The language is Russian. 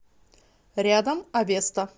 рядом авеста